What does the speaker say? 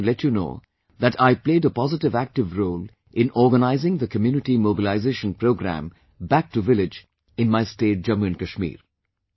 I am happy to let you know that I played a positive active role in organizing the community mobilisation programme Back to Village in my state Jammu & Kashmir